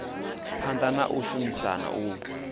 phanḓa na u shumisana u